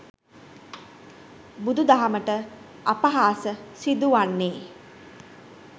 බුදු දහමට අපහාස සිදුවන්නේ